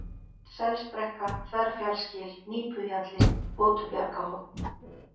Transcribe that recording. Selsbrekka, Þverfjallsgil, Nípuhjalli, Votubjargahorn